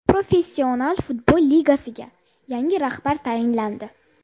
Professional futbol ligasiga yangi rahbar tayinlandi.